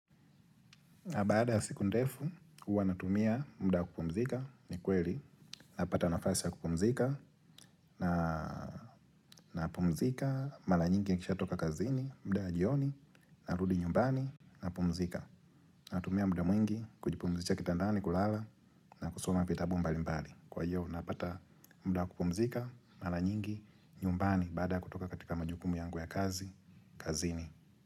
Na baada ya siku ndefu, huwa natumia muda wa kupumzika, ni kweli, napata nafasi ya kupumzika, na napumzika, mara nyingi nikishatoka kazini, muda ya jioni, narudi nyumbani, napumzika. Natumia muda mwingi, kujipumzisha kitandani, kulala, na kusoma vitabu mbali mbali. Kwa hiyo, napata muda wa kupumzika, mara nyingi, nyumbani, baada ya kutoka katika majukumu yangu ya kazi, kazini.